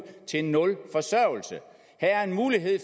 til nul forsørgelse her er en mulighed